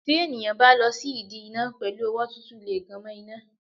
Tí ènìyàn bá lọ sí ìdí iná pẹ̀lú ọwọ́ tútù lè gan mo iná.